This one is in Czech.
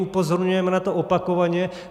Upozorňujeme na to opakovaně.